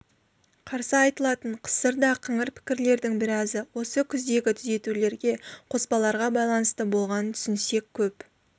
қарсы айтылатын қысыр да қыңыр пікірлердің біразы осы кездегі түзетулерге қоспаларға байланысты болғанын түсінсек көп